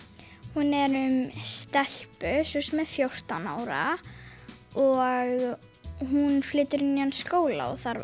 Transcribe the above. hún er um stelpu sem er fjórtán ára og hún flytur í nýjan skóla og þarf